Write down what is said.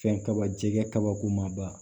Fɛn kaba jɛgɛ kabako ma ba